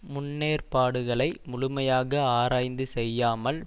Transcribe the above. முன்னேற்பாடுகளை முழுமையாக ஆராய்ந்து செய்யாமல்